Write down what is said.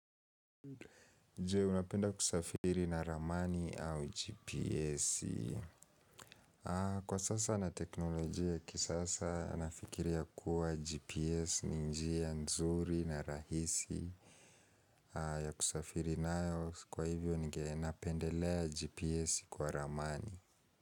Je unapenda kusafiri na ramani au GPS? Kwa sasa na teknolojia ya kisasa nafikiria kuwa GPS ni njia nzuri na rahisi ya kusafiri nayo kwa hivyo napendelea GPS kwa ramani.